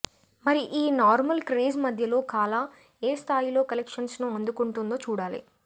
మరి ఈ normal craze మధ్యలో కాలా ఏ స్థాయిలో కలెక్షన్స్ ను అందుకుంటుందో చూడాలి